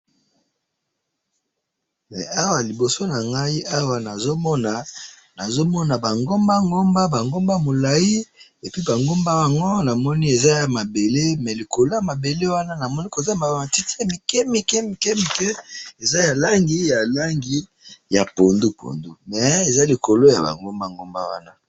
Awa liboso nangayi awa nazomona , nazomona bangomba ngomba, bangomba mulayi, epuis bangomba yango namoni eza yamabele, mais likolo yamabele wana namoni koza nabamatiti yamikemike mikemike, eza yalangi, yalangi ya pondu pondu, mais eza likolo yabangomba ngomba wana.